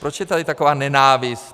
Proč je tady taková nenávist?